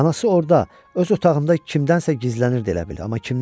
Anası orda öz otağında kimdənsə gizlənirdi elə bil, amma kimdən?